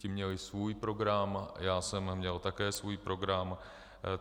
Ti měli svůj program, já jsem měl také svůj program.